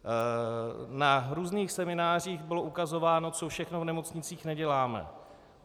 Na různých seminářích bylo ukazováno, co všechno v nemocnicích neděláme.